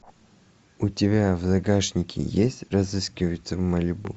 у тебя в загашнике есть разыскиваются в малибу